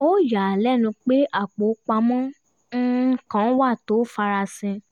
ó yà á á lẹ́nu pé apò pamọ́ um kan wà tó farasin